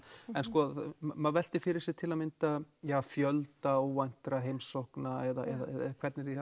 en maður veltir fyrir sér til að mynda fjölda óvæntra heimsókna eða hvernig því